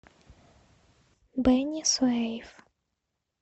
бени суэйф